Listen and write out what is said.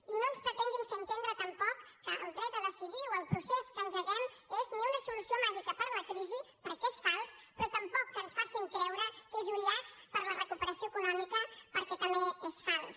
i no pretenguin fer nos entendre tampoc que el dret a decidir o el procés que engeguem és una solució màgica per a la crisi perquè és fals però tampoc ens facin creure que és un llast per a la recuperació econòmica perquè també és fals